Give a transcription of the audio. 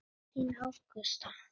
Þín Ágústa.